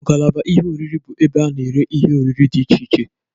Ngalaba ihe oriri bụ ebe a na-ere ihe oriri dị iche iche.